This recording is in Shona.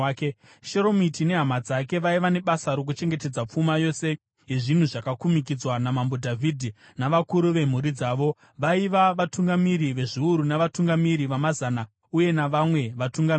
(Sheromiti nehama dzake vaiva nebasa rokuchengetedza pfuma yose yezvinhu zvakakumikidzwa naMambo Dhavhidhi, navakuru vemhuri dzavo vaiva vatungamiri vezviuru navatungamiri vamazana uye navamwe vatungamiri.